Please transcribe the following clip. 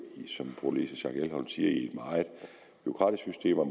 som fru louise schack elholm siger i et meget bureaukratisk system og